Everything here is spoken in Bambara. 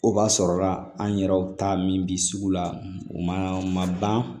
O b'a sɔrɔ la an yɛrɛw ta min bɛ sugu la u ma ban